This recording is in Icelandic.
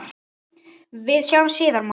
Við sjáumst síðar, mamma.